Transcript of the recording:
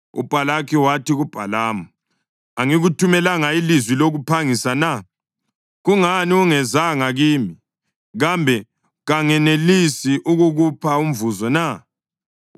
UBhalaki wathi kuBhalamu, “Angikuthumelanga ilizwi lokuphangisa na? Kungani ungezanga kimi? Kambe kangenelisi ukukupha umvuzo na?”